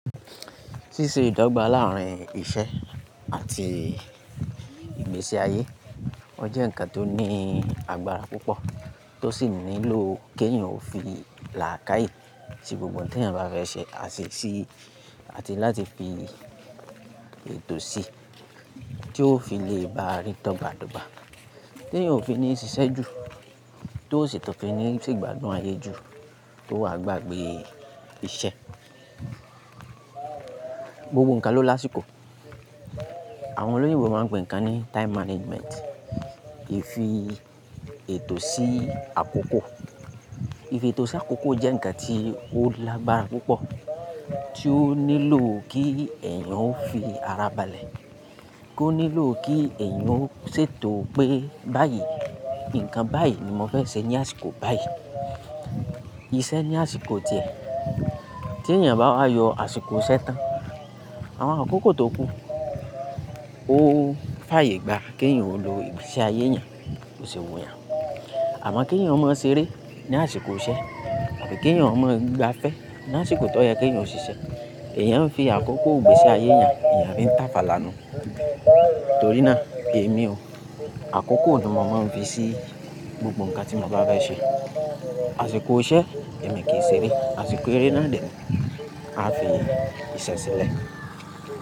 Ṣíṣe ìdọ́gba láàárín iṣẹ́ àti ìgbésí ayé, ó jẹ́ ǹkan tó ní agbára púpọ̀ tó sì nílò kí ẹ̀yin ó fi làákàyè sí gbogbo tí ẹ̀yin bá fẹ́ ṣe àṣìṣi àti láti fi ètò sí tí ó fi le bá rí tọ́gbàtóbà tí ẹ̀yin ó fi ní ṣiṣẹ́ ju, tó sì tọ́ fi ní sí ìgbádùn ayé ju, tó wà gbàgbé iṣẹ́. Gbogbo ǹkan ló lásìkò. Àwọn olóyinbo máa ń pè ǹkan ní time management. Ìfi ètò sí àkókò. Ìfi ètò sí àkókò jẹ́ ǹkan tí ó lágbára púpọ̀ tí ó nílò kí ẹ̀yan ó fi ara balẹ̀, kí ó nílò kí ẹ̀yin ó ṣètò pé báyìí, ǹkan báyìí ni mo fẹ́ ṣe ní àsìkò báyìí. Ìṣe ní àsìkò díẹ̀. Tí ẹ̀yan bá wá yọ àsìkò iṣẹ tán, àwọn àkókò tó kú ó fàyè gbá kí ẹ̀yin ó lo ìgbésí ayé ẹ̀yan, bò ṣè wu yan. Àmọ́ kí ẹ̀yan ó mọ ṣeré ní àsìkò iṣẹ àbi kí ẹ̀yan ó mọ igbafẹ́ ní àsìkò tó yẹ kí ẹ̀yan ó ṣiṣẹ́. Ẹ̀yan ń fi àkókò ìgbésí ayé ẹ̀yan, ẹ̀yan fi ń tàfàlà nù. Torí náà, èmi o, àkókò ni màá máa ń fi sí gbogbo ǹkan tí mo bá fẹ́ ṣe. Àsìkò iṣẹ, èmi kì í ṣeré. Àsìkò eré náà dẹ̀, a fi iṣẹ́ ṣẹlẹ̀.